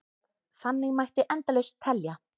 Þannig mætti endalaust telja.